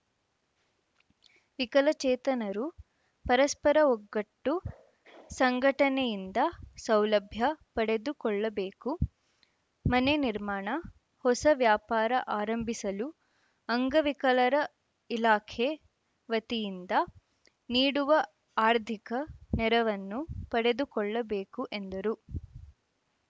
ವಿಕಲಚೇತನರು ಪರಸ್ಪರ ಒಗ್ಗಟ್ಟು ಸಂಘಟನೆಯಿಂದ ಸೌಲಭ್ಯ ಪಡೆದುಕೊಳ್ಳಬೇಕು ಮನೆ ನಿರ್ಮಾಣ ಹೊಸ ವ್ಯಾಪಾರ ಆರಂಭಿಸಲು ಅಂಗವಿಕಲರ ಇಲಾಖೆ ವತಿಯಿಂದ ನೀಡುವ ಆರ್ಥಿಕ ನೆರವನ್ನು ಪಡೆದುಕೊಳ್ಳಬೇಕು ಎಂದರು